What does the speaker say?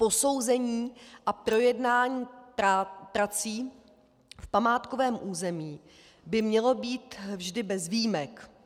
Posouzení a projednání prací v památkovém území by mělo být vždy bez výjimek.